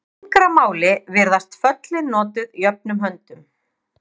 Í yngra máli virðast föllin notuð jöfnum höndum.